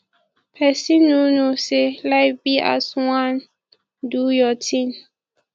people no knowsay life be as wan do your thing